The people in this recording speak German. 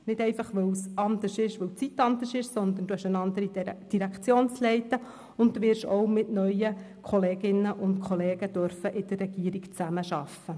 Nicht, weil die Zeit einfach eine andere ist, sondern Sie haben eine andere Direktionsleitung, und Sie werden auch mit neuen Kolleginnen und Kollegen in der Regierung zusammenarbeiten dürfen.